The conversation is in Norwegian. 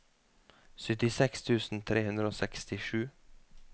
syttiseks tusen tre hundre og sekstisju